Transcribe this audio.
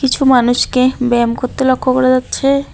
কিছু মানুষকে ব্যায়াম করতে লক্ষ্য করা যাচ্ছে।